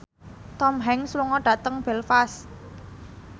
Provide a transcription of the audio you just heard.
Tom Hanks lunga dhateng Belfast